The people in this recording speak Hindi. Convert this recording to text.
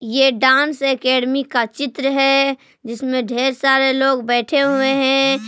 ये डांस एकेडमी का चित्र है जिसमें ढेर सारे लोग बैठे हुए हैं।